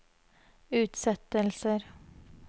utsettelser